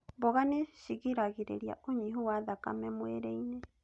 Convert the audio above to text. Mboga nĩ cigiragĩrĩria ũnyihu wa thakame mwĩrĩ-inĩ